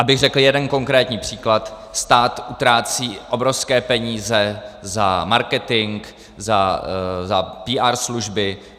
Abych řekl jeden konkrétní příklad, stát utrácí obrovské peníze za marketing, za PR služby.